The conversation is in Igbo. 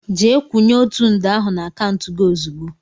Jee kwúnye ọtu nde ahụ n' akauntu gị ozigbo!!!!!